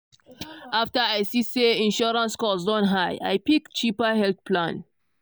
after i see say insurance cost don high i pick cheaper health plan.